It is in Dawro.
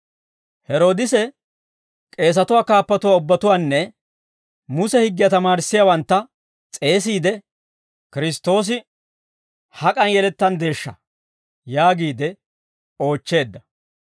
Heroodise k'eesatuwaa kaappatuwaa ubbatuwaanne Muse higgiyaa tamaarissiyaawantta s'eesiide, «Kiristtoosi hak'an yelettanddeeshsha?» yaagiide oochcheedda.